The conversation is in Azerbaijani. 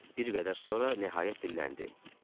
Bir qədər sonra nəhayət dilləndi: